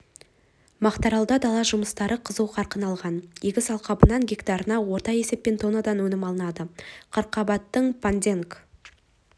мақтааралда дала жұмыстары қызу қарқын алған егіс алқабынан гектарына орта есеппен тоннадан өнім алынады қырыққабаттың понденг